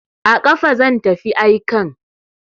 A kafa zan tafi aikan.